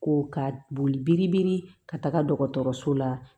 Ko ka boli biri biri ka taga dɔgɔtɔrɔso la